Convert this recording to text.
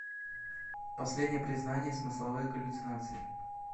последнее признание смысловые галлюцинации